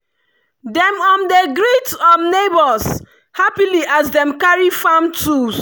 dem um dey greet um neighbours happily as dem carry farm tools.